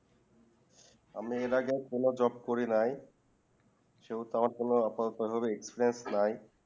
আমি এর আগে কোনো job করি নাই সেই তো আমার আপাতত ভাবে experience নাই